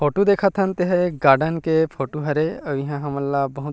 photo देखत हन तेह एक गार्डन के फोटो हरे अउ इंहा हमन ला बहुत --